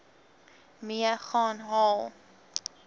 mee gaan haal